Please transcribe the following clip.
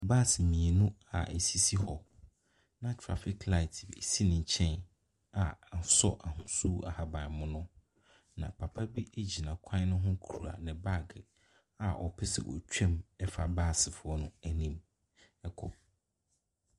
Bus mmienu a ɛsisi hɔ na traffic light si ne nkyɛn a asɔ ahosuo ahabanmono, na papa bi a gyina kwan ne ho kura ne baage a ɔpɛ sɛ otwa mu fa busfoɔ no anim kɔ.